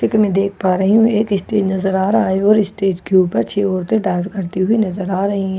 जैसे की मई देख पा रही हु एक स्टेज नजर आ रहा है और स्टेज के उपर छ औरते नजर आ रही है ।